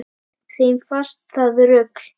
Þeim fannst það rugl